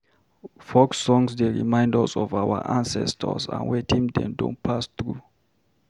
Folk songs dey remind us of our ancestors and wetin dem don pass through.